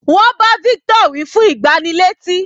Wọ́n bá victor wí fún ìgbánilétí.